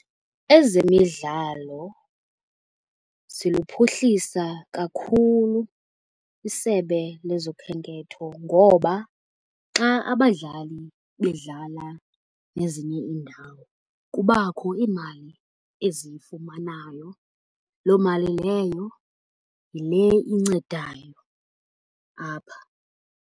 Ezemidlalo ziluphuhlisa kakhulu isebe lezokhenketho. Ngoba xa abadlali bedlala nezinye iindawo kubakho iimali eziyifumanayo, loo mali leyo yile incedayo apha.